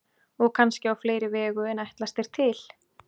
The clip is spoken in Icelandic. Og kannski á fleiri vegu en ætlast er til.